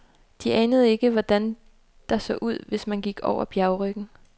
De anede ikke, hvordan der så ud, hvis man gik over bjergryggen.